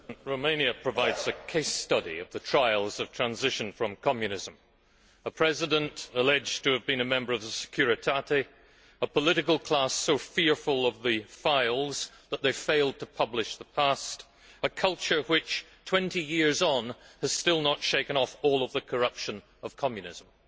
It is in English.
Mr President, Romania provides a case study of the trials of transition from Communism a President alleged to have been a member of the Securitate, a political class so fearful of the files that they fail to publish the past, a culture which 20 years on has still not shaken off all of the corruption of Communism.